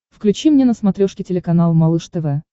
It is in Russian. включи мне на смотрешке телеканал малыш тв